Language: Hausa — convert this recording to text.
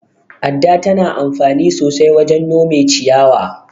Adda tana anfani sosai wajen nome ciyayi.